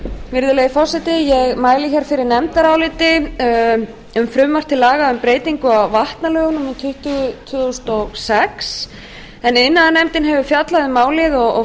virðulegi forseti ég mæli fyrir nefndaráliti um frumvarp til laga um breytingu á vatnalögum númer tuttugu tvö þúsund og sex iðnaðarnefnd hefur fjallað um málið og